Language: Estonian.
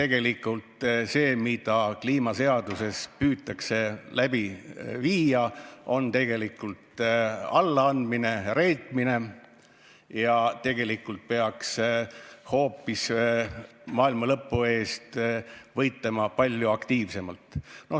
selle kohta, et see, mida kliimaseadusega püütakse ellu viia, on tegelikult allaandmine ja reetmine ning hoopis maailmalõpu pärast peaks võitlema palju aktiivsemalt.